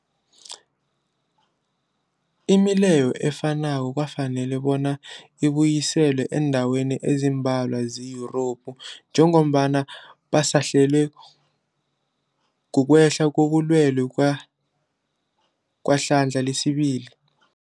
Imileyo efanako kwafanela bonyana ibuyiswe eendaweni ezimbalwa ze-Yurophu njengombana basahlelwa, kukwehla kobulwele kwehlandla lesibili.